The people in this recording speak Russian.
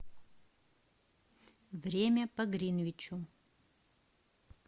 время по гринвичу